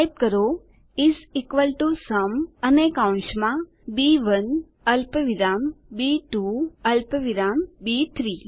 type કરો is equal to sum અને કૌંસમાં બી1 અલ્પવિરામ બી2 અલ્પવિરામ બી3